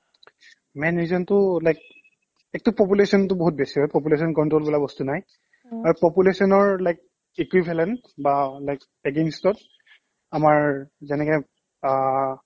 main reason টো like ekto population টো বহুত বেছি হয় population control বোলা বস্তু নাই population ৰ like equivalent বা like against আমাৰ যেনেকে অ